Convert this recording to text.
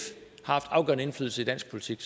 har haft afgørende indflydelse i dansk politik